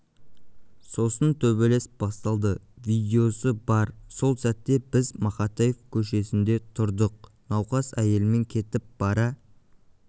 сосын төбелес басталды видеосы бар сол сәтте біз мақатаев көшесінде тұрдық науқас әйелмен кетіп бара